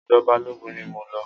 Ọ̀dọ̀ Balógun ni mo lọ.